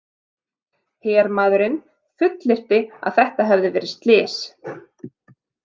Hermaðurinn fullyrti að þetta hefði verið slys.